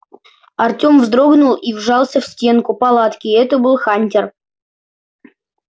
артём вздрогнул и вжался в стенку палатки это был хантер